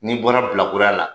N'i bɔra bilakoroya la